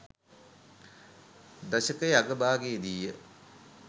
දශකයේ අග භාගයේ දී ය.